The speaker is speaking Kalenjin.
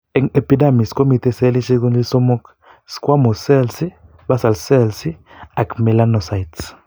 Eng' epidermis komitei selishek konyil somok: squamous cells, basal cells, ak melanocytes.